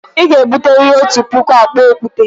Ị ga-ebute riri otu puku akpa okwute!